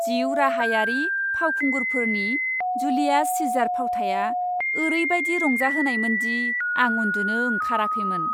जिउ राहायारि फावखुंगुरफोरनि जुलियास सीजार फावथाया ओरैबायदि रंजाहोनायमोन दि आं उन्दुनो ओंखाराखैमोन।